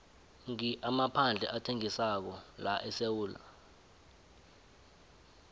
ngi amaphandle athengisako laesewula